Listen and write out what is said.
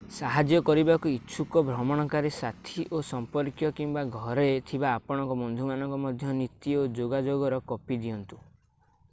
ସାହାଯ୍ୟ କରିବାକୁ ଇଚ୍ଛୁକ ଭ୍ରମଣକାରୀ ସାଥୀ ଓ ସମ୍ପର୍କୀୟ କିମ୍ବା ଘରେ ଥିବା ଆପଣଙ୍କ ବନ୍ଧୁମାନଙ୍କୁ ମଧ୍ୟ ନୀତି/ଯୋଗାଯୋଗର କପି ଦିଅନ୍ତୁ।